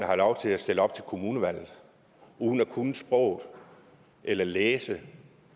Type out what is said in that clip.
have lov til at stille op til kommunevalget uden at kunne sproget eller at læse